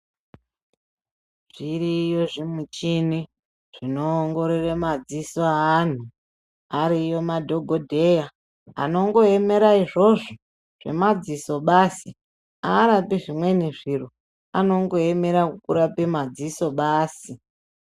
Zviriyo zvimichini zvinoongorore madziso eandu, ariyo madhogodheya anongoyemera izvozvo zvemadziso basi, arapi zvimweni zviro anongoyemera kurape madziso basi.